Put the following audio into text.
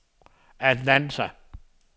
Atlanta